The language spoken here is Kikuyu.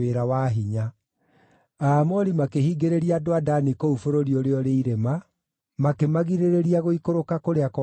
Andũ a Aamori makĩhingĩrĩria andũ a Dani kũu bũrũri ũrĩa ũrĩ irĩma, makĩmagirĩrĩria gũikũrũka kũrĩa kwaraganu.